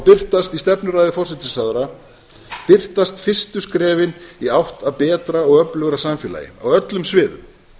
birtast í stefnuræðu forsætisráðherra birtast fyrstu skrefin í átt að betra og öflugra samfélagi á öllum sviðum